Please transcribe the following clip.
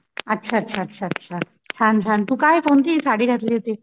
अच्छा अच्छा अच्छा अच्छा छान छान तू काय कोणतीं साडी घातली होतीस?